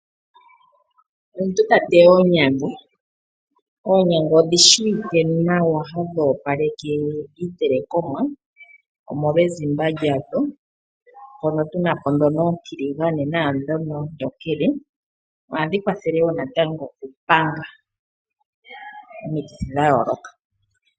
Omuntu ta teya oonyanga. Oonyanga odhi shiwike nawa hadhi opaleke iitelekomwa omolwa ezimba lyadho. Mpono tuna po dhono oontiligane naadhono oontokele. Ohadhi kwathele wo natango okupanga omikithi dha yooloka.